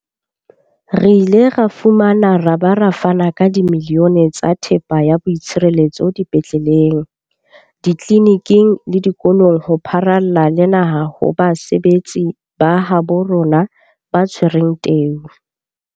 Re ile ra fumana ra ba ra fana ka dimilione tsa thepa ya boitshireletso dipetleleng, ditleliniking le dikolong ho pharalla le naha ho basebetsi ba habo rona ba tshwereng teu.